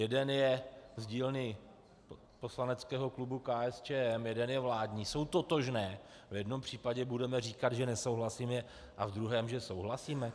Jeden je z dílny poslaneckého klubu KSČM, jeden je vládní, jsou totožné - a v jednom případě budeme říkat, že nesouhlasíme, a v druhém, že souhlasíme?